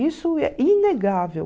Isso é inegável.